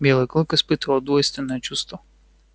белый клык испытывал двойственное чувство